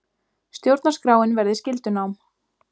Stjórnarskráin verði skyldunám